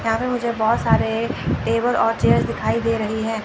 यहां पे मुझे बहोत सारे टेबल और चेयर्स दिखाई दे रही है।